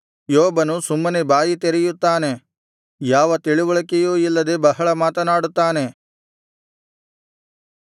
ಯೋಬನು ಸುಮ್ಮನೆ ಬಾಯಿ ತೆರೆಯುತ್ತಾನೆ ಯಾವ ತಿಳಿವಳಿಕೆಯೂ ಇಲ್ಲದೆ ಬಹಳ ಮಾತನಾಡುತ್ತಾನೆ